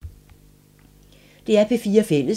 DR P4 Fælles